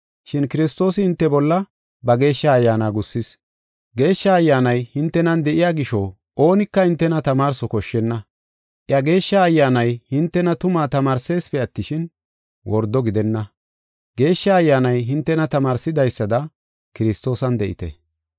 Shin Kiristoosi hinte bolla ba Geeshsha Ayyaana gussis. Geeshsha Ayyaanay hintenan de7iya gisho oonika hintena tamaarso koshshenna. Iya Geeshsha Ayyaanay hintena tumaa tamaarsesipe attishin, wordo gidenna. Geeshsha Ayyaanay hintena tamaarsidaysada Kiristoosan de7ite.